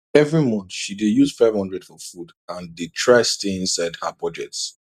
every month she dey use 500 for food and dey try stay inside her budget